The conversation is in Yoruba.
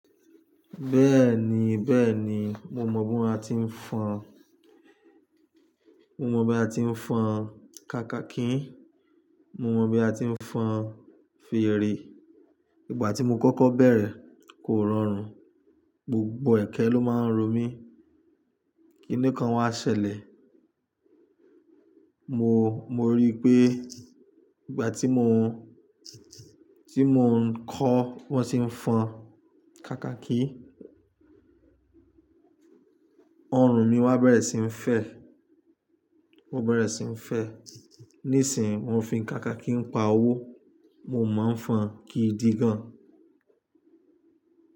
Bẹ́ẹ̀ni, bẹ́ẹ̀ni mo mọ bí wọ́n ti ń fọn, mo mọ bí a ti ń fọn kakaki, mo mọ bí a ti ń fọn fèrè. Ìgbà tí mo kókó bẹ̀rẹ̀ kò rọrùn, gbogbo ẹ̀kẹ́ ló máa ń ro mí. Kínìkan wa ṣẹlẹ̀, mo, mo rí i pé ìgbà tí mò ń, tí mò ń kọ́ wọ́n ti ń fọn kakaki, ọrùn mi wá bẹ̀rẹ̀ sí ní fẹ́, ó bẹ̀rẹ̀ sí ní fẹ́. Nísìínyi mo fi kakaki ń pa owó, mo máa ń fọn kì í di gan.